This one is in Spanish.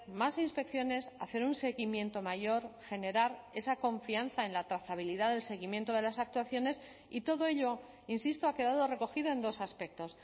más inspecciones hacer un seguimiento mayor generar esa confianza en la trazabilidad del seguimiento de las actuaciones y todo ello insisto ha quedado recogido en dos aspectos